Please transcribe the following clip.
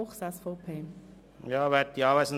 Grossrat Fuchs hat das Wort.